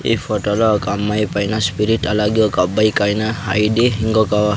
ఈ ఫోటోలో ఒక అమ్మాయి పైన స్పిరిట్ అలాగే ఒక అబ్బాయి కైన ఐడి ఇంకొక--